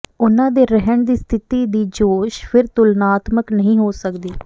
ਉਨ੍ਹਾਂ ਦੇ ਰਹਿਣ ਦੀ ਸਥਿਤੀ ਦੀ ਜੋਸ਼ ਫਿਰ ਤੁਲਨਾਤਮਕ ਨਹੀਂ ਹੋ ਸਕਦੀ